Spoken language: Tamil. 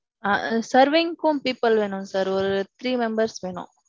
ஆஹ் serving க்கும் people வேணும் sir. ஒரு three members வேணும்.